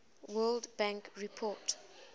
world bank report